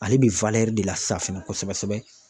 Ale bɛ de la san fɛnɛ kosɛbɛ sɛbɛ.